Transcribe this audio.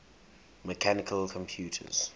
mechanical computers